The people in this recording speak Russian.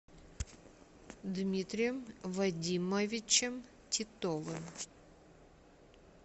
дмитрием вадимовичем титовым